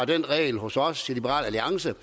den regel hos os i liberal alliance